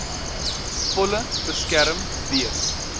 volle beskerm wees